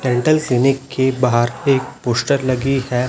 Dental clinic के बाहर एक पोस्टर लगी है।